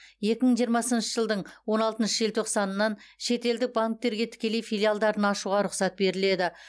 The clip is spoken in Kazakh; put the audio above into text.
екі мың жиырмасыншы жылдың он алтыншы желтоқсанынан шетелдік банктерге тікелей филиалдарын ашуға рұқсат беріледі